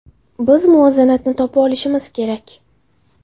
Biz muvozanatni topa olishimiz kerak.